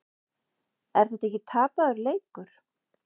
Er þetta ekki tapaður leikur?